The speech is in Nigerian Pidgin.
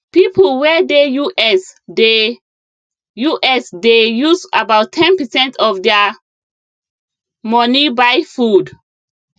people wey dey us dey us dey use about ten percent of their money buy food